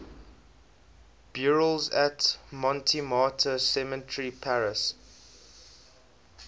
burials at montmartre cemetery paris